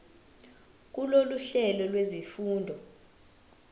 kulolu hlelo lwezifundo